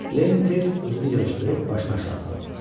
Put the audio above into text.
Leni tez özünü yığışdırıb başını aşağı saldı.